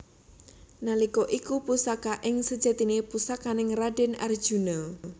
Nalika iku Pusaka iki sejatine pusakaning raden Arjuna